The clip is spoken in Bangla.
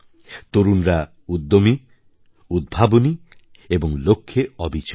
তরুণরা উদ্যোমী উদ্ভাবনী এবং লক্ষ্যে অবিচল